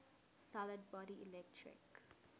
solid body electric